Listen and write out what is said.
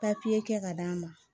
kɛ ka d'a ma